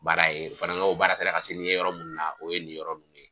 Baara ye fana kaw baara sera ka se ni n ye yɔrɔ munnu na o ye nin yɔrɔ nunnu ye.